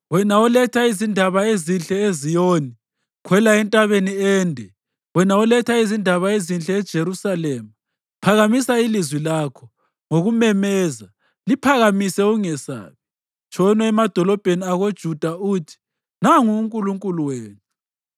Wena oletha izindaba ezinhle eZiyoni, khwela entabeni ende. Wena oletha izindaba ezinhle eJerusalema, phakamisa ilizwi lakho ngokumemeza; liphakamise, ungesabi, tshono emadolobheni akoJuda uthi: “Nangu uNkulunkulu wenu!”